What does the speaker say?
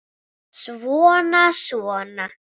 Svona, svona